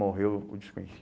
Morreu o